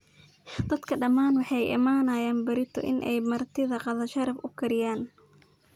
Dadka dhamaan waxay uu iimanayan berito inay martidha qada sharaf uukariyan.